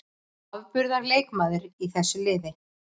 Afburðar leikmaður í þessu liði.